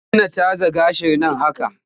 Dena tazar gashin nan haka!